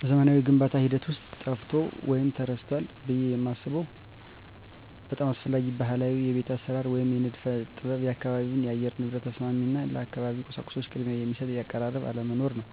በዘመናዊው የግንባታ ሂደት ውስጥ ጠፍቷል ወይም ተረስቷል ብዬ የማስበው አንድ በጣም አስፈላጊ ባህላዊ የቤት አሰራር ወይም የንድፍ ጥበብ የአካባቢ የአየር ንብረት ተስማሚ እና ለአካባቢው ቁሳቁሶች ቅድሚያ የሚሰጥ አቀራረብ አለመኖር ነው።